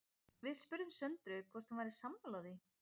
Við spurðum Söndru hvort hún væri sammála því?